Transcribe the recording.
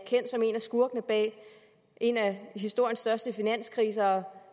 skurkene bag en af historiens største finanskriser